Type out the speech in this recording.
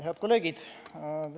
Head kolleegid!